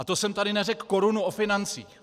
A to jsem tady neřekl korunu o financích.